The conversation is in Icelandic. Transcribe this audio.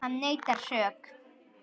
Hann neitar sök.